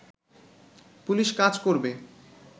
police কাজ করবে